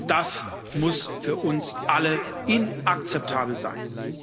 Das muss für uns alle inakzeptabel sein!